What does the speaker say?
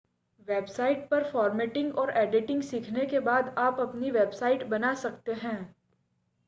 website पर formatting और editing सीखने के बाद आप अपनी वेबसाइट बना सकते हैं